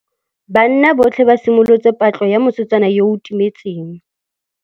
Banna botlhê ba simolotse patlô ya mosetsana yo o timetseng.